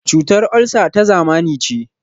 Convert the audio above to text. Cutar olsa ta zamani ce.